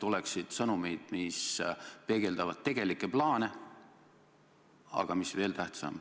Küsimuse nr 5 esitab Jürgen Ligi ja vastab peaminister Jüri Ratas.